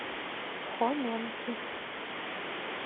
хоменки